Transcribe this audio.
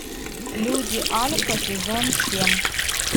люди альфа сезон семь